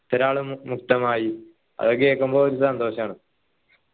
ഇത്രാൾ മുക്തമായി അതെ കേക്കുമ്പോ ഒരു സന്തോഷാണ്